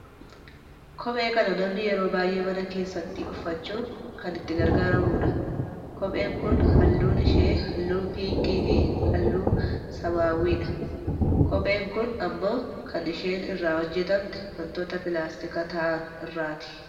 Kophee kana namni yeroo baayyee mana keessatti uffachuun kan itti gargaraamudha. Kopheen kun halluun ishee halluu piinkii fi halluu samaawwiidha. Kopheen kun ammoo kan isheen irraa hojjatamte wantoota pilaastika ta'an irraati.